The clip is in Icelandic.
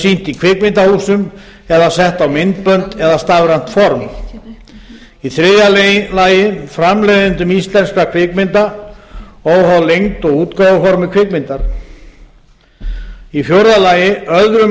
sýnt í kvikmyndahúsum eða sett á myndbönd eða stafrænt form þriðja framleiðendum íslenskra kvikmynda óháð lengd og útgáfuformi kvikmyndar fjórða öðrum